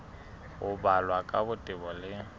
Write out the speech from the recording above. ho balwa ka botebo le